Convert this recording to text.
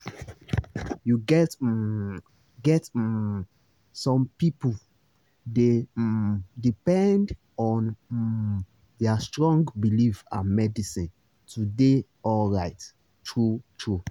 you get um get um some people dey um depend on um their strong belief and medicine to dey alright true-true